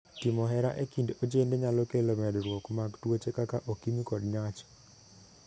Timo hera e kind ojende nyalo kelo medruok mag tuoche kaka okimi kod nyach.